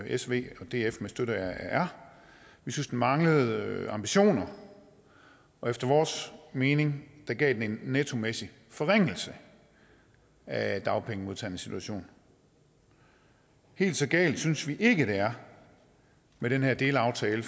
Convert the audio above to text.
s v og df med støtte fra r vi synes den manglende ambitioner efter vores mening gav den en nettomæssig forringelse af dagpengemodtagernes situation helt så galt synes vi ikke det er med den her delaftale